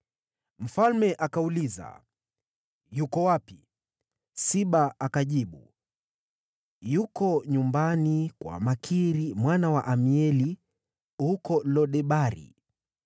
Mfalme akauliza, “Yuko wapi?” Siba akajibu, “Yuko nyumbani kwa Makiri mwana wa Amieli huko Lo-Debari.”